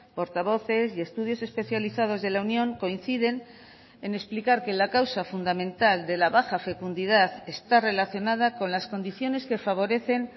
portavoces y estudios especializados de la unión coinciden en explicar que la causa fundamental de la baja fecundidad está relacionada con las condiciones que favorecen